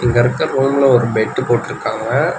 இந்தெடத்து ப்ரௌன்ல ஒரு பெட்டு போட்ருக்காங்க.